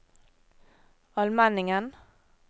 Almenningen